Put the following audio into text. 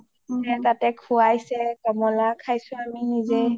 তাতে সোৱাইচে কমলা খাইছো আমি নিজে